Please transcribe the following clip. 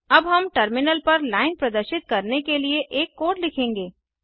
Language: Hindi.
अब हम टर्मिनल पर लाइन प्रदर्शित करने के लिए एक कोड लिखेंगे